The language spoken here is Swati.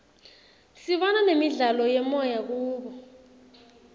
sibona nemidlalo yemoya kubo